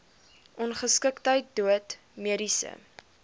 ongeskiktheid dood mediese